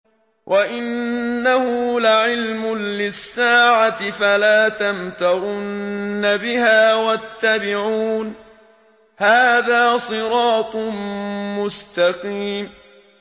وَإِنَّهُ لَعِلْمٌ لِّلسَّاعَةِ فَلَا تَمْتَرُنَّ بِهَا وَاتَّبِعُونِ ۚ هَٰذَا صِرَاطٌ مُّسْتَقِيمٌ